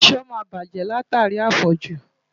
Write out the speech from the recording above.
Aṣọ máa bàjẹ́ látàrí àfọ̀jù.